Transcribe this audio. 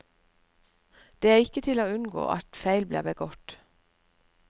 Det er ikke til å unngå at feil blir begått.